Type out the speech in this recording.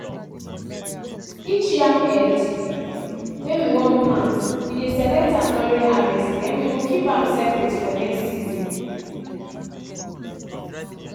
each yam head wey we wan plant we dey select am during harvest then we go keep am separate for next season.